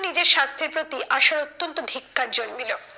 নিজের স্বাস্থ্যের প্রতি আশার অত্যন্ত ধিক্কার জন্মিল।